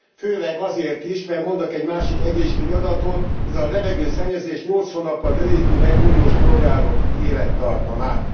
Főleg azért is, mert mondok egy másik egészségügyi adatot ez a levegőszennyezés nyolc hónappal rövidíti meg uniós polgárok élettartamát.